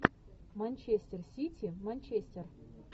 манчестер сити манчестер